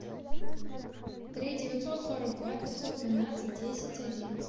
три девятьсот сорок два пятьсот двенадцать десять одиннадцать